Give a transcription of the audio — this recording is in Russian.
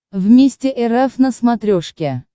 вместе эр эф на смотрешке